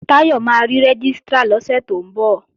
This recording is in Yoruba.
Táyọ̀ máa rí Rẹ́gístrà lọ́sẹ̀ tó ń bọ̀